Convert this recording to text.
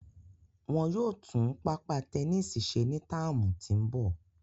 Wọn yóò tun papa tẹnisi ṣe ni tạamu ti n bọ